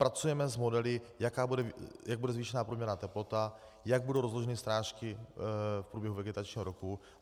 Pracujeme s modely, jak bude zvýšena průměrná teplota, jak budou rozloženy srážky v průběhu vegetačního roku.